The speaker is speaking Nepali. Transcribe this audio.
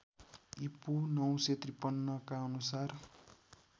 ईपू ९५३ का अनुसार